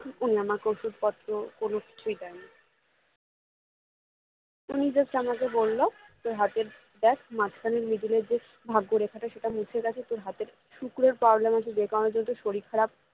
উনি আমাকে ওষুধপত্র কোনো কিছুই দেননি উনি just আমাকে বললো তোর হাতের দেখ মাঝখানে middle এ যে যে ভাগ্য রেখাটা সেটা মুছে গেছে তোর হাতের শুক্রর problem আছে যে কারণে তোর শরীর খারাপ